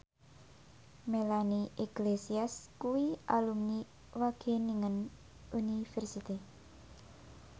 Melanie Iglesias kuwi alumni Wageningen University